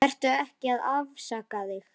Vertu ekki að afsaka þig.